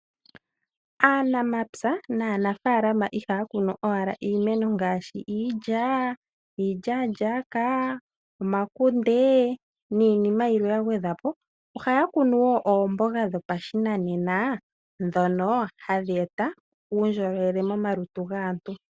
Aanamapya naanafaalama ihaya kunu owala iimeno ngaashi iilya, iilyaalyaka, omakunde niinima yilwe ya gwedhwa po. Ohaya kunu wo oomboga dhopashinanena ndhono hadhi e ta uundjolowele momalutu gaantu.